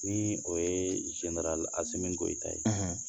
Ni o ye Asimi Goyita ye